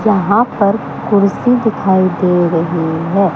यहां पर कुर्सी दिखाई दे रही है।